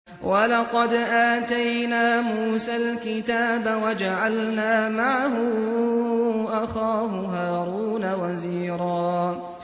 وَلَقَدْ آتَيْنَا مُوسَى الْكِتَابَ وَجَعَلْنَا مَعَهُ أَخَاهُ هَارُونَ وَزِيرًا